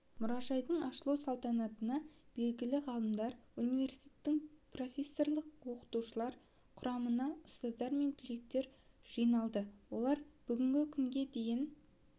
мұражайдың ашылу салтанатына белгілі ғалымдар университеттің профессорлық-оқытушылар құрамына ұстаздар мен түлектер жиналды олар бүгінгі күнге дейін